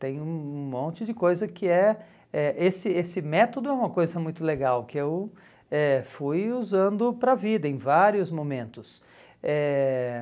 Tem um um monte de coisa que é... Eh esse esse método é uma coisa muito legal, que eu eh fui usando para a vida em vários momentos. Eh